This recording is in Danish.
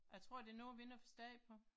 Jeg tror det er noget vi ikke har forstand på